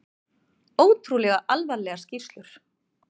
Ótrúlega alvarlegar skýrslur